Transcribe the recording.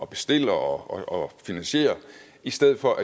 bestiller og finansierer i stedet for